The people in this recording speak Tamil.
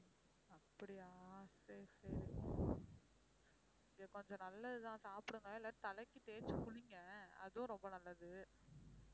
அப்படியா சரி சரி அது கொஞ்சம் நல்லது தான் சாப்பிடுங்க இல்ல தலைக்கு தேய்ச்சு குளிங்க அதுவும் ரொம்ப நல்லது